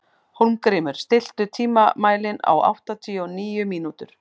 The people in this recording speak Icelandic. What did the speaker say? Hólmgrímur, stilltu tímamælinn á áttatíu og níu mínútur.